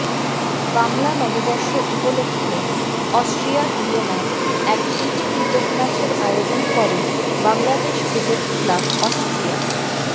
বাংলা নববর্ষ উপলক্ষে অস্ট্রিয়ার ভিয়েনায় এক প্রীতি ক্রিকেট ম্যচের আয়োজন করে বাংলাদেশ ক্রিকেট ক্লাব অস্ট্রিয়া